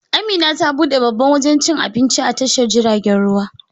Amina ta buɗe babban wajan cikin Abinci a tashar jiragen ruwa